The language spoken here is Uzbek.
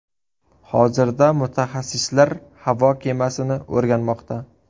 Hozirda mutaxassislar havo kemasini o‘rganmoqda.